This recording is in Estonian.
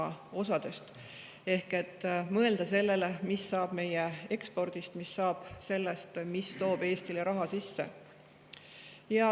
Ehk mõelda sellele, mis saab meie ekspordist, mis saab sellest, mis toob Eestile raha sisse.